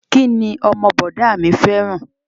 Kí ni ọmọ bọ̀dá a mi fẹ́ràn?